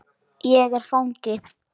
Er ég fangi?